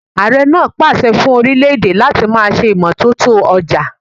Ààre pa àṣẹ fún orílè-èdè láti ma ṣe imọtoto ọjà.